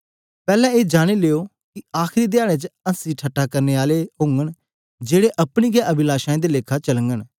पैहले ए जानी लो कि आखरी धयारे च हँसी ठट्ठा करने आले औन गे जेड़े अपनी हे अभिलाषाओं दे लेखा चालन गे